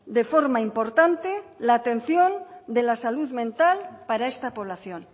de forma importante la atención de la salud mental para esta población